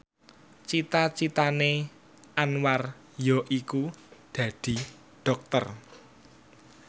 cita citane Anwar yaiku dadi dokter